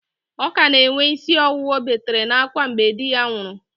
Ọ ka na-enwe ísí ọwụwa ọ betere n'ákwá mgbe di ya nwụrụ